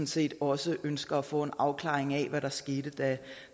set også ønsker at få en afklaring af hvad der skete